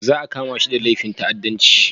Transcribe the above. Za a kama shi da laifin ta'addanci